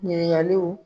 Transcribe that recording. Ɲininkaliw